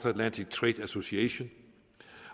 atlantic trade association